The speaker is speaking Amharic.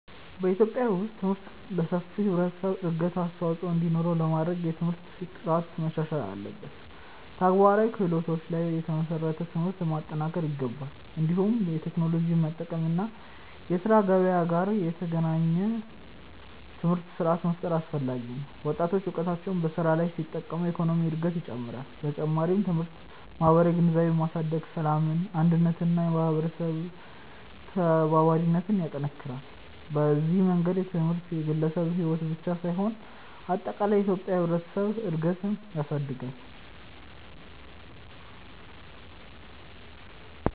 በኢትዮጵያ ውስጥ ትምህርት ለሰፊው ህብረተሰብ እድገት አስተዋፅኦ እንዲኖረው ለማድረግ የትምህርት ጥራት መሻሻል አለበት፣ ተግባራዊ ክህሎቶች ላይ የተመሰረተ ትምህርት መጠናከር ይገባል። እንዲሁም የቴክኖሎጂ መጠቀም እና የስራ ገበያ ጋር የተገናኘ ትምህርት ስርዓት መፍጠር አስፈላጊ ነው። ወጣቶች እውቀታቸውን በስራ ላይ ሲጠቀሙ የኢኮኖሚ እድገት ይጨምራል። በተጨማሪም ትምህርት ማህበራዊ ግንዛቤን በማሳደግ ሰላምን፣ አንድነትን እና የህብረተሰብ ተባባሪነትን ይጠናክራል። በዚህ መንገድ ትምህርት የግለሰብን ሕይወት ብቻ ሳይሆን አጠቃላይ የኢትዮጵያን ህብረተሰብ እድገት ያሳድጋል።